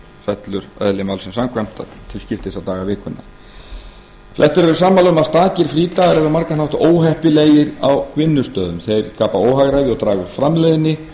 fellur eðli málsins samkvæmt til skiptis á daga vikunnar flestir eru sammála um það að stakir frídagar eru á margan hátt óheppilegir á vinnustöðum þeir skapa óhagræði og draga úr framleiðni